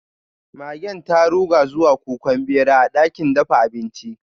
Magen ta ruga zuwa kukan bera a dakin dafa abinci.